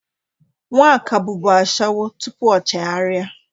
Nwaka bụbụ ashawo tupu o chegharị.